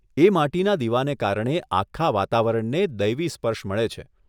એ માટીના દીવાને કારણે આખા વાતાવરણને દૈવી સ્પર્શ મળે છે.